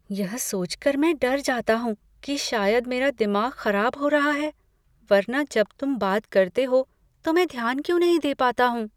यह सोच कर मैं डर जाता हूँ कि शायद मेरा दिमाग खराब हो रहा है, वरना जब तुम बात करते हो तो मैं ध्यान क्यों नहीं दे पाता हूँ?